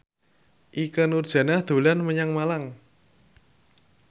Ikke Nurjanah dolan menyang Malang